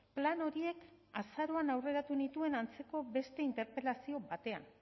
plan horiek azaroaren aurreratu nituen antzeko beste interpelazio batean